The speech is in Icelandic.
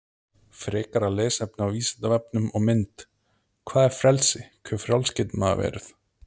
Frekara lesefni á Vísindavefnum og mynd Hvað er frelsi, hve frjáls getur maður verið?